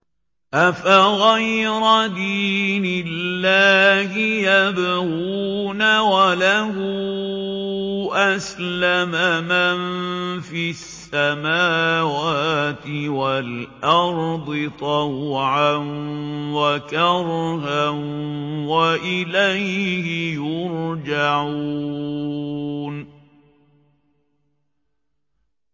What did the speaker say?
أَفَغَيْرَ دِينِ اللَّهِ يَبْغُونَ وَلَهُ أَسْلَمَ مَن فِي السَّمَاوَاتِ وَالْأَرْضِ طَوْعًا وَكَرْهًا وَإِلَيْهِ يُرْجَعُونَ